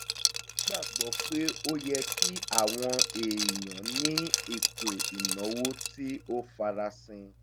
ó gbàgbọ́ pé ó yẹ kí àwọn èèyàn ní ètò ìnáwó tí ó farasin